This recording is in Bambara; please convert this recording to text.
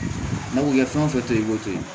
N'a ko kɛ fɛn o fɛn to yen i b'o to yen